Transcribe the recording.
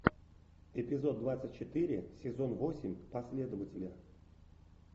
эпизод двадцать четыре сезон восемь последователи